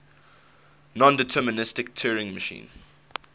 nondeterministic turing machine